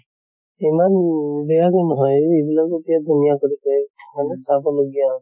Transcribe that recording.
ইমান বেয়া তো নহয় ইবিলাক এতিয়া ধুনীয়া কৰিছে, hall ত চাব লগিয়া।